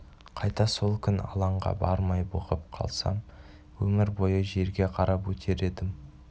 қайта сол күн алаңға бармай бұғып қалсам өмір бойы жерге қарап өтер едім